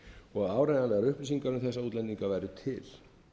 og áreiðanlegar upplýsingar um að útlendingar væru til